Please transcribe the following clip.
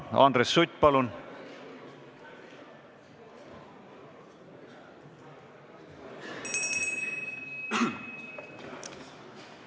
Andres Sutt, palun!